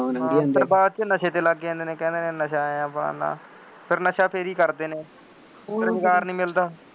ਹਾਂ ਫਿਰ ਬਾਅਦ ਚ ਨਸ਼ੇਤੇ ਲੱਗ ਜਾਂਦੇ ਨੇ, ਕਹਿੰਦੇ ਨੇ ਨਸ਼ਾ ਆਏਂ ਆ ਫਲਾਨਾ, ਫੇਰ ਨਸ਼ਾ ਫੇਰ ਹੀ ਕਰਦੇ ਨੇ, ਕੋਈ ਰੁਜ਼ਗਾਰ ਨਹੀਂ ਮਿਲਦਾ,